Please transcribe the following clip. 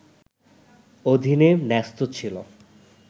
অধীনে ন্যস্ত ছিল